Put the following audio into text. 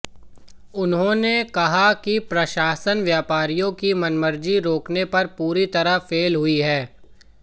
उन्होंने कहा कि प्रशासन व्यापारियों की मनमर्जी रोकने पर पूरी तरह फेल हुई है